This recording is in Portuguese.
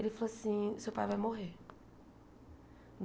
Ele falou assim, seu pai vai morrer.